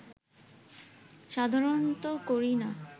সাধারনত করি না